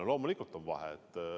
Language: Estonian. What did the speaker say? On, loomulikult on vahe.